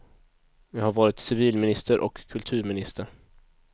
Jag har varit civilminister och kulturminister.